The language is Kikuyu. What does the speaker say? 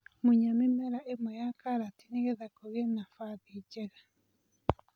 Munya mĩmera ĩmwe ya karati nĩgetha kũgie na nabathi njega.